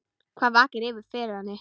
Hvað vakir fyrir henni?